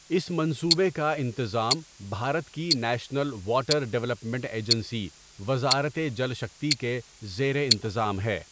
اس منصوبے کا انتظام بھارت کی نیشنل واٹر ڈیولپمنٹ ایجنسی وزارت جل شکتی کے زیر انتظام ہے۔